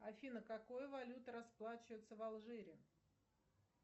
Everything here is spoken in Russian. афина какой валютой расплачиваются в алжире